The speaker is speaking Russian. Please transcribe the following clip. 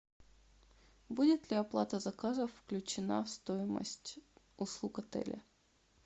будет ли оплата заказов включена в стоимость услуг отеля